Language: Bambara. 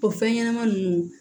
O fɛn ɲɛnama nunnu